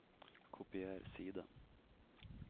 kopier side